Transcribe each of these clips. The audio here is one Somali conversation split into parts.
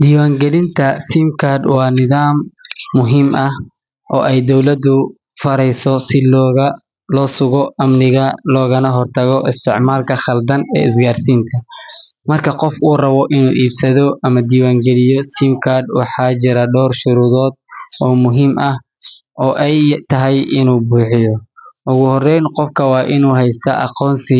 Dibaan galinta waa nimaad muhiim ah, marka qof uu rabo inuu helo ama uu ibsado kar cusub waxaa jira door sheey oo muhiim u ah inuu buxiyo, ogu horeyn waa inuu haysto aqoonsi,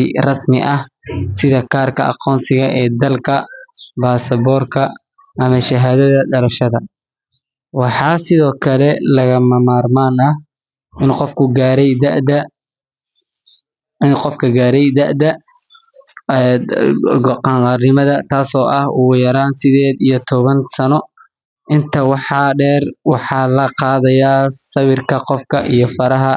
waxaa sido kale lagama marmaan ah inuu gaare dada qankaarga intaas waxaa deer waxaa laqaadaya sawirka qofka iyo faraha,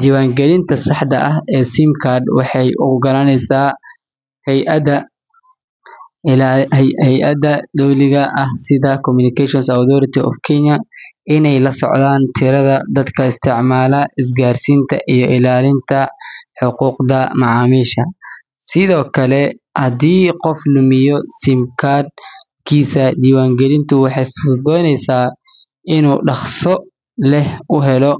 diban galinta saxda ee karka, ineey lasocdaan tirada is gaarsiinta, dibaan galinta waxeey fududeyan inuu si daqsi ah uhelo.